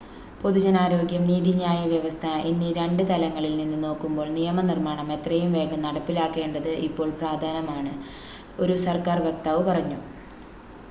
"""പൊതുജനാരോഗ്യം നീതിന്യായ വ്യവസ്ഥ എന്നീ രണ്ട് തലങ്ങളിൽ നിന്ന് നോക്കുമ്പോൾ നിയമനിർമ്മാണം എത്രയും വേഗം നടപ്പിലാക്കേണ്ടത് ഇപ്പോൾ പ്രധാനമാണ്" ഒരു സർക്കാർ വക്താവ് പറഞ്ഞു.